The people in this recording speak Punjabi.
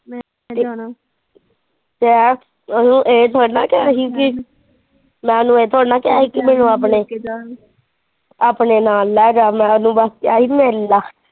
ਕਹਿ ਤੈਨੂੰ ਇਹ ਤੋੜਾ ਕਿਹਾ ਸੀ ਆਪਣੇ ਨਾਲ ਲੈਜਾ ਮੈਨੂੰ ਮਿਲ ਲਾ।